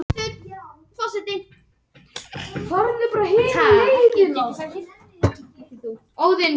Ingólfur Hannes Leósson, ljósmyndari, mætti á völlinn og tók nokkrar myndir af æfingunni.